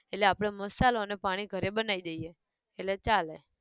એટલે આપણે મસાલો ને પાણી ઘરે બનાયી દઈએ, એટલે ચાલે